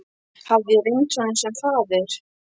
Hafði ég reynst honum sem faðir?